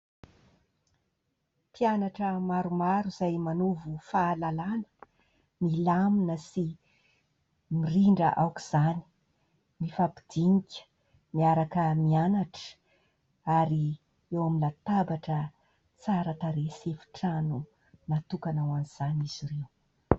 Mpianatra maromaro izay manovo fahalalàna. Milamina sy mirindra aoka izany mifampidinika miaraka mianatra ary eo amin'ny latabatra tsara tarehy sy efitrano natokana ho an'izany izy ireo.